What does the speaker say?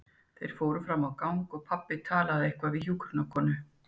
Þeir fóru fram á gang og pabbi talaði eitthvað við hjúkrunarkonu.